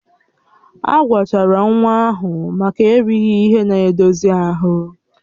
Agwọchara nwa ahụ maka erighị ihe na-edozi ahụ